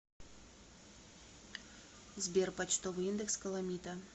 сбер почтовый индекс каламита